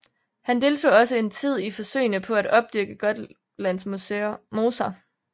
Han deltog også en tid i forsøgene på at opdyrke Gotlands moser